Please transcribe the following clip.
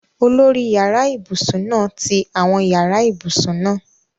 Olórí yàrá ibùsùn náà ti àwọn yàrá ibùsùn náà